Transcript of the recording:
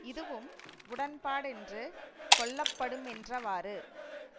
இதுவும் உடன்பாடென்று கொள்ளப்படுமென்றவாறு